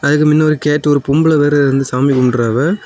அதுக்கு மின்ன ஒரு கேட் ஒரு பொம்பள வேற வந்து சாமி கும்புடுராவ.